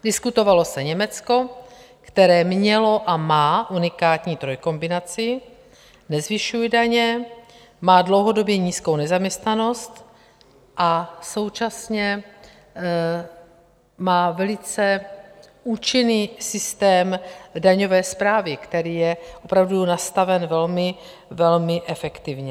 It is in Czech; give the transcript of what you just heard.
Diskutovalo se Německo, které mělo a má unikátní trojkombinaci, nezvyšuje daně, má dlouhodobě nízkou nezaměstnanost a současně má velice účinný systém daňové správy, který je opravdu nastaven velmi efektivně.